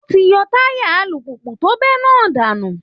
Wọ́n ti yọ táyà alùpùpù tó bẹ́ náà dànù